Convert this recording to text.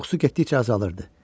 Qorxusu getdikcə azalırdı.